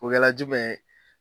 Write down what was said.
O kala jumɛn ye?